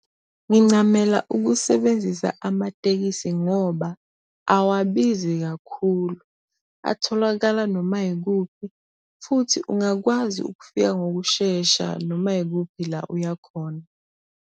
Ngincamela ukusebenzisa amatekisi ngoba awabizi kakhulu, atholakala noma yikuphi futhi ungakwazi ukufika ngokushesha noma yikuphi la uyakhona.